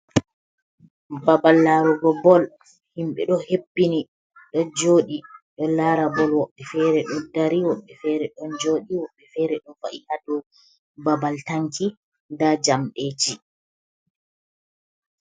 Babal larugo bol, himɓe ɗo heɓɓini do joɗi, ɗo lara bol, woɓɓe fere ɗo dari, woɓɓe fere don joɗi, woɓɓe fere ɗo va’i hado babal tanki nda jamdeji.